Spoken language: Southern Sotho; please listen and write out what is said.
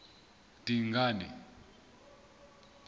dingane